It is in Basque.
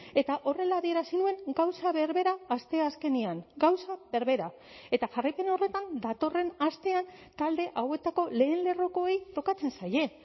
eta horrela adierazi nuen gauza berbera asteazkenean gauza berbera eta jarraipen horretan datorren astean talde hauetako lehen lerrokoei tokatzen zaie